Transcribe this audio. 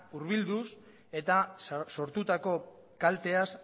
hurbilduz eta sortutako kalteaz